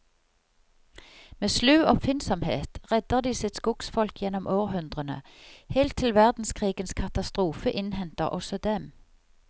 Med slu oppfinnsomhet redder de sitt skogsfolk gjennom århundrene, helt til verdenskrigens katastrofe innhenter også dem.